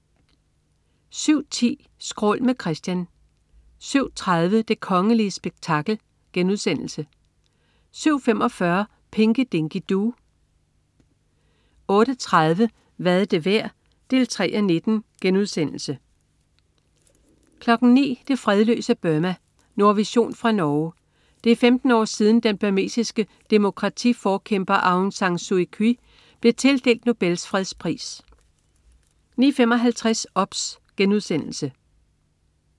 07.10 Skrål. Med Christian 07.30 Det kongelige spektakel* 07.45 Pinky Dinky Doo 08.30 Hvad er det værd? 3:19* 09.00 Det fredløse Burma. Nordvision fra Norge. Det er 15 år siden, den burmesiske demokratiforkæmper Aung San Suu Kyi blev tildelt Nobels fredspris 09.55 OBS*